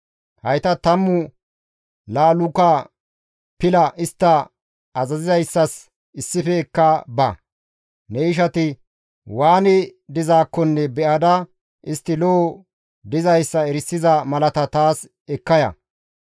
Hayta tammu laaluka pila istta azazizayssas issife ekka ba; ne ishati waani dizaakko be7ada istti lo7o dizayssa erisiza malata taas ekka ya.